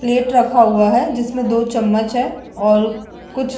plate रखा हुआ है जिसमें दो चम्मच है और कुछ--